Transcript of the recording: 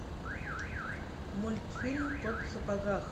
мультфильм кот в сапогах